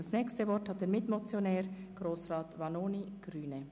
Als Nächstes hat der Mitmotionär das Wort.